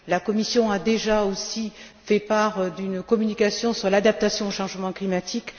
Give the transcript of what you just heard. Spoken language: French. La Commission a déjà aussi fait part d'une communication sur l'adaptation au changement climatique.